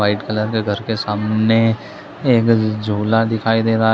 White colour का घर के सामने एक झूला दिखाई दे रहा हैं ।